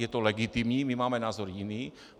Je to legitimní, my máme názor jiný.